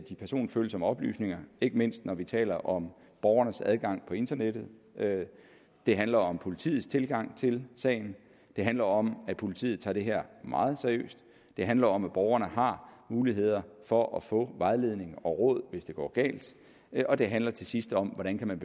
personfølsomme oplysninger ikke mindst når vi taler om borgernes adgang på internettet det handler om politiets tilgang til sagen det handler om at politiet tager det her meget seriøst det handler om at borgerne har muligheder for at få vejledning og råd hvis det går galt og det handler til sidst om hvordan man